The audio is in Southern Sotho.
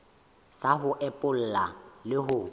sa ho epolla le ho